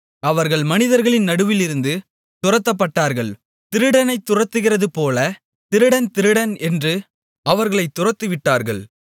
அவர்கள் மனிதர்களின் நடுவிலிருந்து துரத்தப்பட்டார்கள் திருடனைத் துரத்துகிறதுபோல் திருடன் திருடன் என்று அவர்களைத் துரத்திவிட்டார்கள்